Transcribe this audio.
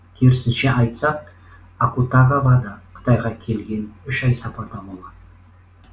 керісінше айтсақ акутагава да қытайға келген үш ай сапарда болған